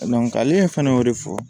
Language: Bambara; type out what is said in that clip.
ale fana y'o de fɔ